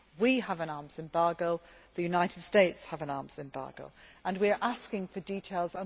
We have an arms embargo, the United States has an arms embargo and we are asking for details.